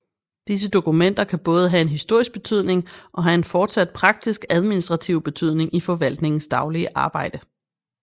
Disse dokumenter kan både have en historisk betydning og have en fortsat praktisk administrativ betydning i forvaltningens daglige arbejde